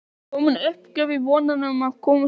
Er komin uppgjöf í vonina um að komast upp?